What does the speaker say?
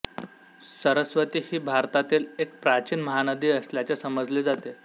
सरस्वती ही भारतातील एक प्राचीन महानदी असल्याचे समजले जाते